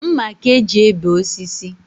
Mma ka e ji ebe osisi